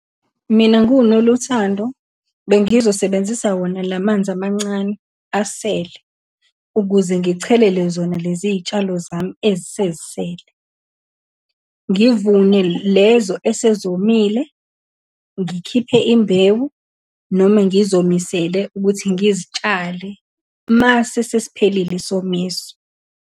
Mina, ngiwuNoluthando bengizosebenzisa wona lamanzi amancane asele, ukuze ngichelele zona lezi iy'tshalo zami ezisezisele, ngivune lezo esezomile, ngikhiphe imbewu, noma ngizomisele ukuthi ngizitshale uma sesesiphelile isomiso.